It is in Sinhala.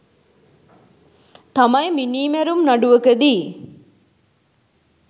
තමයි මිනීමැරුම් නඩුවකදී